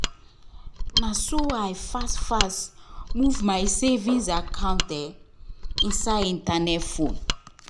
na so i fast fast move my savings account inside internet phone